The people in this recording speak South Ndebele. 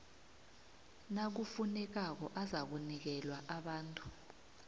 nakufunekako azakunikelwa abantu